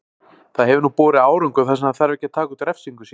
Það hefur nú borið árangur þar sem hann þarf ekki að taka út refsingu sína.